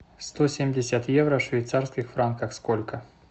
сто семьдесят евро в швейцарских франках сколько